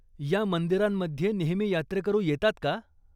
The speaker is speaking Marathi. या मंदिरांमध्ये नेहमी यात्रेकरू येतात का?